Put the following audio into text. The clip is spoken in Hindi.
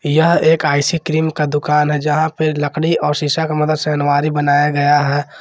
यह एक आईसक्रीम का दुकान है जहां पर लकड़ी और शीशा का मदद से अलमारी बनाया गया है।